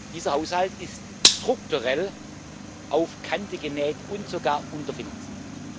Dieser Haushalt ist strukturell auf Kante genäht und sogar unterfinanziert.